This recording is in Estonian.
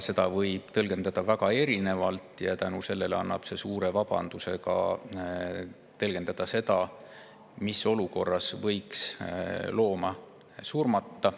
Seda võib tõlgendada väga erinevalt ja see annab suure vabaduse tõlgendada, mis olukorras võiks looma surmata.